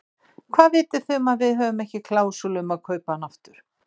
Hvað viti þið um að við höfum ekki klásúlu um að kaupa hann aftur?